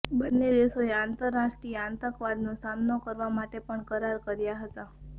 બંને દેશોએ આંતરરાષ્ટ્રીય આતંકવાદનો સામનો કરવા માટે પણ કરાર કર્યા હતા